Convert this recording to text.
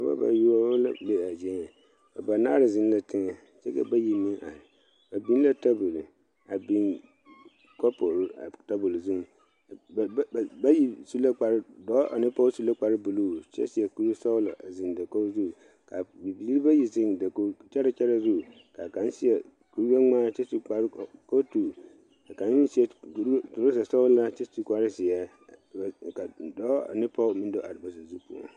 Noba bayoɔbo la be a zie nyɛ banaare zeŋ la teŋa kyɛ ka bayi meŋ are ba biŋ la tabol a biŋ kaporo a tabol zuŋ ba bayi su la kpare dɔɔ ane pɔge su la kpare buluu kyɛ seɛ kuri sɔglɔ a zeŋ dakogi kaa bibiiri bayi zeŋ dakogi kyɛre kyɛre zu kaa ka seɛ kuri gbɛ ŋmaa kyɛ su kpare kootu ka kaŋa meŋ seɛ troza sɔglaa kyɛ su kpare ziɛ ka dɔɔ ane pɔge meŋ do are ba saazu poɔ.